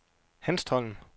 Hanstholm